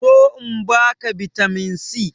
Zo in ba ka bitamin c!